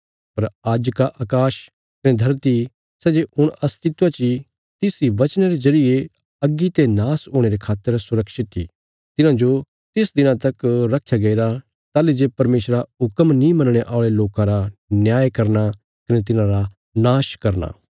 पर आज्ज का अकाश कने धरती सै जे हुण अस्तित्व ची तिस इ बचना रे जरिये अग्गी ते नाश हुणे रे खातर सुरक्षित इ तिन्हांजो तिस दिना तक रखया गईरा ताहली जे परमेशरा हुक्म नीं मनणे औल़े लोकां रा न्याय करना कने तिन्हांरा नाश करना